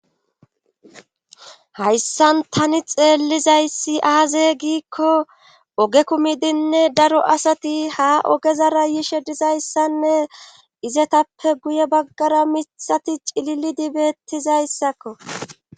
hayssan tani xeellizayssi aaze giikko oge kumidinne daro asati ha ogezara yishe dizayssanne izetappe guye baggara mithati cililidi bettizayssakko